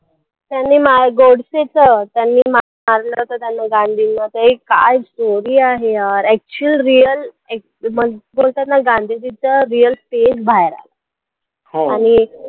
त्यांनी मा गोडसेचं त्यांनी मा मारलं होतं त्यांनी गांधीना ते काय story आहे यार actual real act बोलतात ना गांधीजीचं real face बाहेर आला आणि